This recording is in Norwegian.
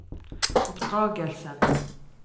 oppdragelsen